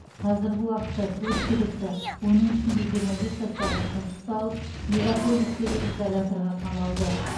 қазіргі уақытта төрт күдікті оның ішінде жиырма бес жастағы қыз ұсталып мегаполистегі изоляторға қамалды